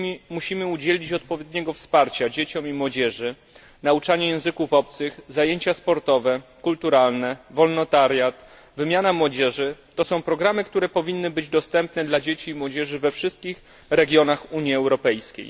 Musimy udzielić odpowiedniego wsparcia dzieciom i młodzieży nauczanie języków obcych, zajęcia sportowe, kulturalne, wolontariat, wymiana młodzieży to są programy, które powinny być dostępne dla dzieci i młodzieży we wszystkich regionach Unii Europejskiej.